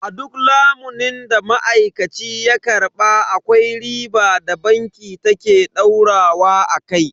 A duk lamunin da ma'aikaci ya karba akwai riba da banki ta ke daurawa akai.